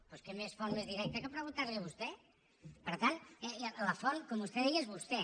doncs quina font més directa que preguntar li ho a vostè per tant la font com vostè deia és vostè